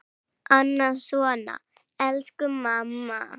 Annað svona: Elsku mamma!